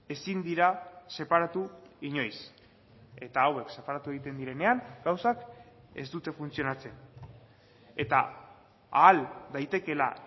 ezin dira separatu inoiz eta hauek separatu egiten direnean gauzak ez dute funtzionatzen eta ahal daitekeela